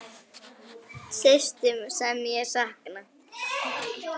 Systur sem ég sakna.